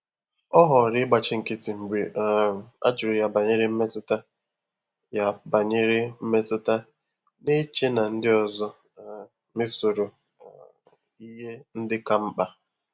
Ọ́ họọrọ ị́gbàchí nkị́tị́ mgbè um á jụ́rụ̀ yà bànyèrè mmétụ́tà, yà bànyèrè mmétụ́tà, nà-échè nà ndị́ ọzọ um mésọ́rọ um ìhè ndị́ kà mkpà.